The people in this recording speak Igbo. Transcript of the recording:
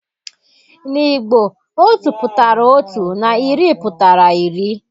N'Igbo Otu pụtara otu na iri pụtara iri